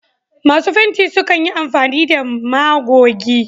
Masu fenti sukan yi amfani da magogi.